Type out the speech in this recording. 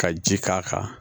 Ka ji k'a kan